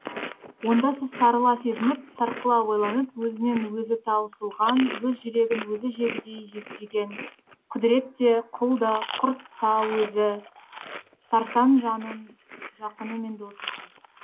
онда сіз сарыла сезініп сарқыла ойланып өзінен өзі таусылған өз жүрегін өзі жегідей жеген құдірет те құл да құрт таөзі сарсаң жанның жақыны мен досысыз